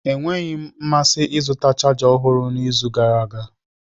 Enweghị m mmasị ịzụta chaja ọhụrụ n'izu gara aga.